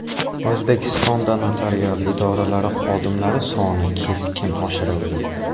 O‘zbekistonda notarial idoralari xodimlari soni keskin oshirildi.